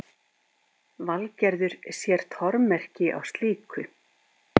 Valgerður sér tormerki á slíku.